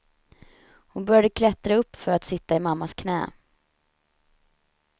Hon började klättra upp för att sitta i mammas knä.